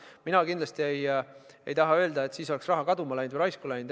Mina ei taha kindlasti öelda, et siis oleks raha kaduma läinud või raisku läinud.